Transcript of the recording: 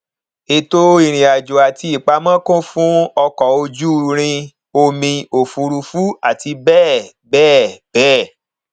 ètò ìrìnàjò àti ìpamọ kún fún ọkọ ojú irin omi òfuurufú àti bẹẹ bẹẹ bẹẹ